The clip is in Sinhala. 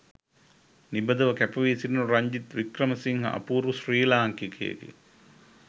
නිබඳව කැප වී සිටින රංජිත් වික්‍රමසිංහ අපූරු ශ්‍රී ලාංකිකයෙකි.